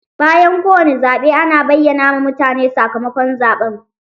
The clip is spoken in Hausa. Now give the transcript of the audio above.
Bayan kowane zaɓe ana bayyana ma mutane sakamakon zaɓen